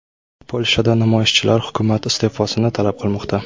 Polshada namoyishchilar hukumat iste’fosini talab qilmoqda.